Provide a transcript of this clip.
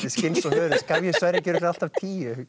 skinns og hörunds gaf ég Sverri ekki örugglega alltaf tíu